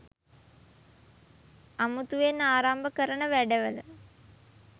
අමුතුවෙන් ආරම්භ කරන වැඩවල